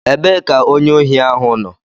Ebee ka onye ohi ahụ nọ?